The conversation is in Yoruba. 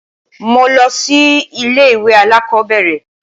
Mo lọ sí ilé-ìwé alákọ̀ọ́bẹ̀rẹ̀.